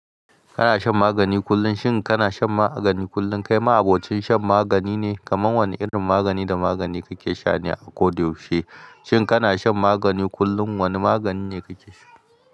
Kana shan magani kullum? Shin kana shan magani kullum? Kai ma abokin shan magani ne? Kaman wane irin magani da magani kake sha ne a koda yaushe? Shin kana shan magani kullum? Wane magani ne kake sha?